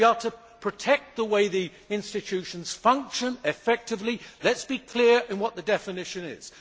If we are to protect the way the institutions function effectively, let us be clear on what the definition is.